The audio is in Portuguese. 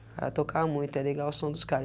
O cara toca muito, é legal o som dos cara. E